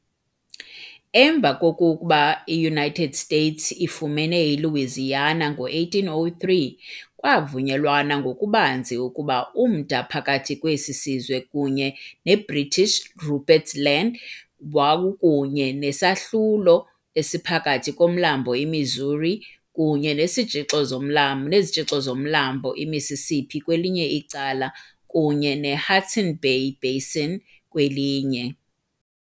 Emva kokuba iUnited States ifumene iLouisiana ngo- 1803, kwavunyelwana ngokubanzi ukuba umda phakathi kwesi sizwe kunye neBritish Rupert's Land wawukunye nesahlulo esiphakathi koMlambo iMissouri kunye nesitshixo somla nezitshixo zoMlambo iMississippi kwelinye icala kunye ne- Hudson Bay basin kwelinye.